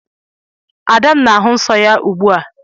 Ada m na-ahụ nsọ ya ugbu a